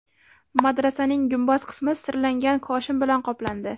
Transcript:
Madrasaning gumbaz qismi sirlangan koshin bilan qoplandi.